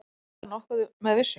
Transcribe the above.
Get ég vitað nokkuð með vissu?